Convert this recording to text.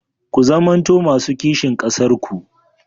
Ku zamanto masu kishin ƙasarku.